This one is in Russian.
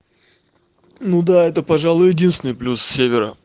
ну да это пожалуй единственный плюс севера